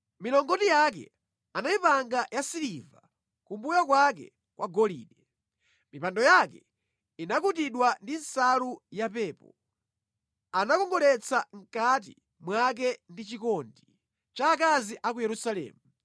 Milongoti yake anayipanga yasiliva, kumbuyo kwake kwa golide. Mipando yake inakutidwa ndi nsalu yapepo, anakongoletsa mʼkati mwake ndi chikondi cha akazi a ku Yerusalemu.